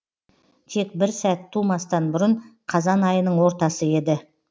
тек бір сәт тумастан бұрын қазан айының ортасы еді